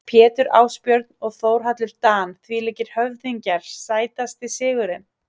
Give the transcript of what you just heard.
Pétur Ásbjörn og Þórhallur Dan þvílíkir höfðingjar Sætasti sigurinn?